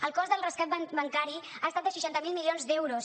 el cost del rescat bancari ha estat de seixanta miler milions d’euros